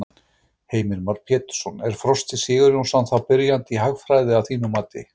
Heimir Már Pétursson: Er Frosti Sigurjónsson þá byrjandi í hagfræði að þínu mati?